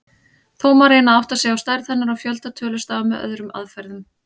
Þó má reyna að átta sig á stærð hennar og fjölda tölustafa með öðrum aðferðum.